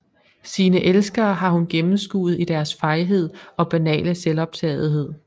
Sine elskere har hun gennemskuet i deres fejhed og banale selvoptagethed